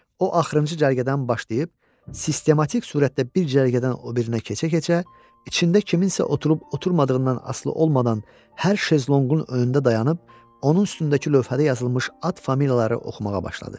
O axırıncı cərgədən başlayıb sistematik surətdə bir cərgədən o birinə keçə-keçə içində kimsə oturub-oturmadığından asılı olmadan hər şezlonqun önündə dayanıb onun üstündəki lövhədə yazılmış ad familiyaları oxumağa başladı.